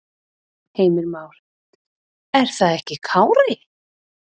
Heimir Már: Er það ekki Kári?